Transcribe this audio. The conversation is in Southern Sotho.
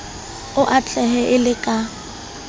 o atlehe e le ka